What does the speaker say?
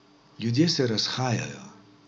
Ljudje se razhajajo.